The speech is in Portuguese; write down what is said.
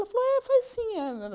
Ela falou, é, faz sim. Eh agora